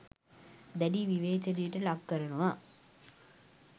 දැඩි විවේචනයට ලක්කරනවා.